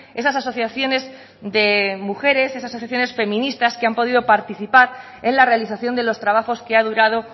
esas asociaciones de mujeres esas asociaciones feministas que han podido participar en la realización de los trabajos que ha durado